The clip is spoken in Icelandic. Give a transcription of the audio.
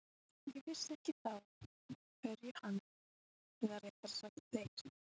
Ég vissi ekki þá eftir hverju hann, eða réttara sagt þeir